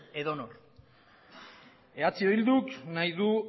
edonor eh bilduk nahi du